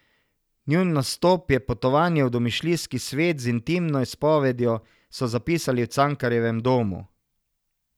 Njun nastop je potovanje v domišljijski svet z intimno izpovedjo, so zapisali v Cankarjevem domu.